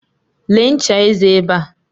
Lee ncha eze ebe a.